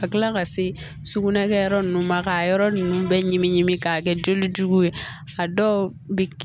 Ka kila ka se sugunɛ kɛyɔrɔ nunnu ma k'a yɔrɔ nunnu bɛɛ ɲimi ɲimi k'a kɛ joli jugu ye a dɔw bi